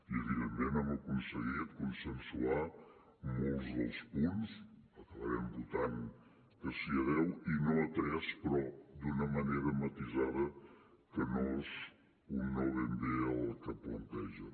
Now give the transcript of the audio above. i evidentment hem aconseguit consensuar molts dels punts acabarem votant que sí a deu i no a tres però d’una manera matisada que no és un no ben bé al que plantegen